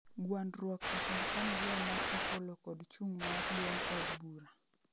Gwandruok e kind familia mar Opollo kod chung' mar duond od bura